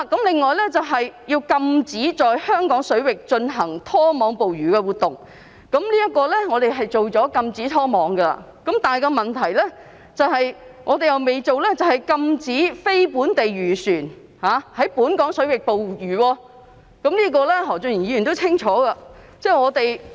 另外要禁止在香港水域進行拖網捕魚活動，就此，我們已禁止拖網捕魚，但我們尚未禁止非本地漁船在本港水域捕魚，何俊賢議員也清楚知道此事。